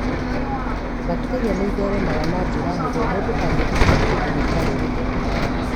Bacteria nĩ ĩtheremagĩra na njĩra hũthũ mũndũ angĩhutia kĩndũ gĩtarĩ gĩtheru.